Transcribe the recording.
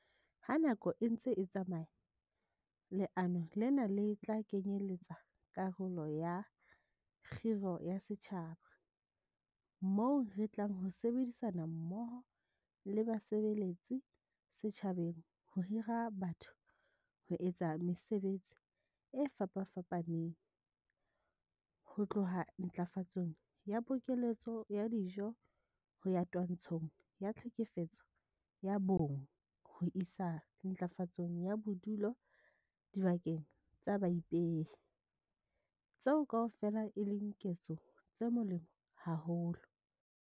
Ha nako e ntse e tsamaya, leano lena le tla kenyeletsa karolo ya 'kgiro ya setjhaba' moo re tlang ho sebedisana mmoho le basebeletsi setjhabeng ho hira batho ho etsa mesebetsi e fapafapaneng - ho tloha ntlafatsong ya pokeletso ya dijo ho ya twantshong ya tlhekefetso ya bonng ho isa ntlafatsong ya bodulo dibakeng tsa baipehi - tseo kaofela e leng ketso tse molemo haholo.